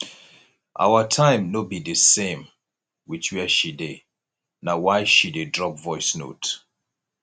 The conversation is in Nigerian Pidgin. our time no be di same wit where she dey na why she dey drop voice note